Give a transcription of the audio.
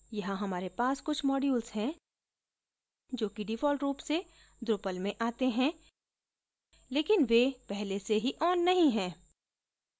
यहाँ हमारे पास कुछ modules हैं जो कि default रूप से drupal में आते हैं लेकिन वे पहले से ही on नहीं हैं